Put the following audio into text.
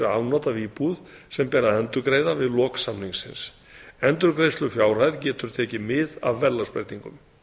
afnot af íbúð sem ber að endurgreiða við lok samningsins endurgreiðslufjárhæð getur tekið mið af verðlagsbreytingum